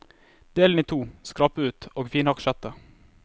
Del den i to, skrap ut og finhakk kjøttet.